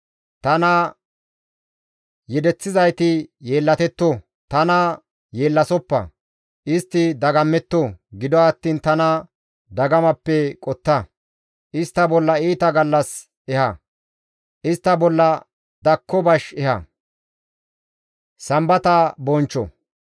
Tana yedeththizayti yeellatetto; tana yeellasoppa; istti dagammetto; gido attiin tana dagamappe qotta; istta bolla iita gallas eha; istta bolla dakko bash eha.